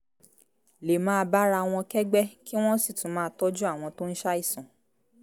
lè máa bára wọn kẹ́gbẹ́ kí wọ́n sì tún máa tọ́jú àwọn tó ń ṣàìsàn